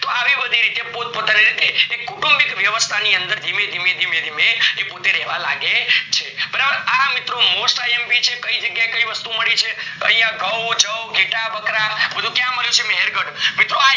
તો આવી બધી રીતે પોત પોતાની રીતે એ કુતુંમ્બીક વ્યવસ્થા ની અંદર ધીમે ધીમે ધીમે એ રહેવા લાગે છે, બરાબર આ મિત્રો mostIMP છે. કાય જગ્યા એ કાય વસ્તુ ઓ મળી છે તો યા ઘઉં જઉં ઘેટા બકરા બધું ક્યાં મળ્યું છે મહેર્ગઢ મિત્રો આ